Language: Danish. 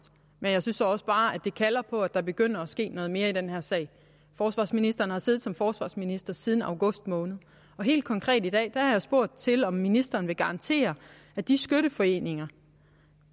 men jeg synes også bare at det kalder på at der begynder at ske noget mere i den her sag forsvarsministeren har siddet som forsvarsminister siden august måned og helt konkret i dag har jeg spurgt til om ministeren vil garantere at de skytteforeninger